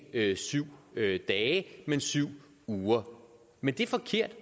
er syv dage men syv uger men det er forkert og